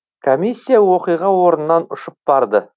комиссия оқиға орнынан ұшып барды